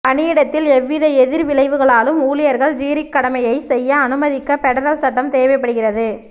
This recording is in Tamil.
பணியிடத்தில் எவ்வித எதிர்விளைவுகளாலும் ஊழியர்கள் ஜூரிக் கடமையைச் செய்ய அனுமதிக்க பெடரல் சட்டம் தேவைப்படுகிறது